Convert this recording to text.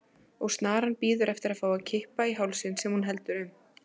Og snaran bíður eftir að fá að kippa í hálsinn sem hún heldur um.